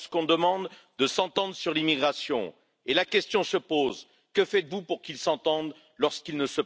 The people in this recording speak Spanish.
Si queremos una Unión Europea de verdad unida, tiene que ser también una unión europea de la justicia.